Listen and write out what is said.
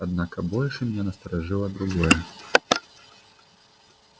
однако больше меня насторожило другое